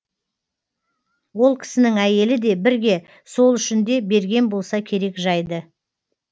ол кісінің әйелі де бірге сол үшін де берген болса керек жайды